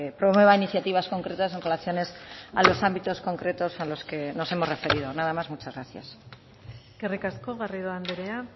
promueva iniciativas concretas en relaciones a los ámbitos concretos a los que nos hemos referido nada más muchas gracias eskerrik asko garrido andrea